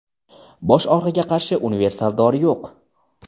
bosh og‘rig‘iga qarshi universal dori yo‘q.